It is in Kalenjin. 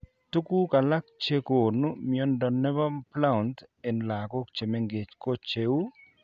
Tuguk alak chegonu mnyondo nebo Blount en lagok chemengech ko cheuu